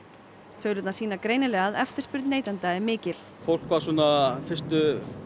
tölurnar sýna greinilega að eftirspurn neytenda er mikil fólk var svona fyrstu